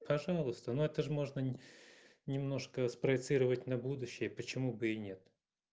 пожалуйста но это же можно немножко спроецировать на будущее почему бы и нет